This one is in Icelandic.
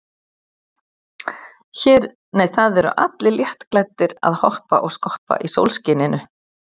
Það eru allir léttklæddir að hoppa og skoppa í sólskininu.